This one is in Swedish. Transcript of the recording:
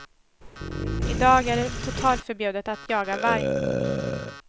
I dag är det totalförbjudet att jaga varg.